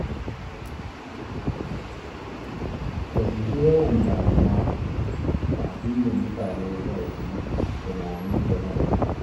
Ka guji yawan damuwa da abin da mutane za su yi tunani game da kai.